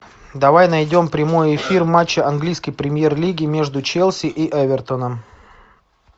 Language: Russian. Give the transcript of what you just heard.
давай найдем прямой эфир матча английской премьер лиги между челси и эвертоном